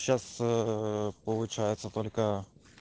сейчас э получается только